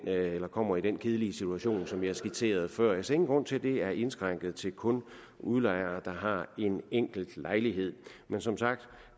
kommer i den kedelige situation som jeg skitserede før jeg ser ingen grund til at det er indskrænket til kun at gælde udlejere der har en enkelt lejlighed men som sagt